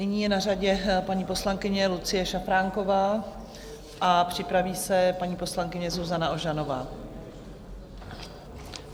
Nyní je na řadě paní poslankyně Lucie Šafránková a připraví se paní poslankyně Zuzana Ožanová.